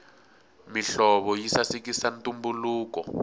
mihlovo yi sasekisa ntumbuluko